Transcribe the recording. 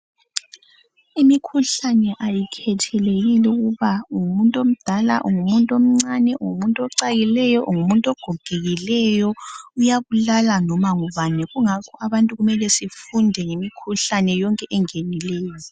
Imikhuhlane ayikhethi ukuba ungumuntu omdala ungumuntu omncane ungumuntu ocakileyo, ungumuntu ogogekileyo uyabulala loba ngubani kungakho abantu kumele sifunde yonke imikhuhlane engenileyo.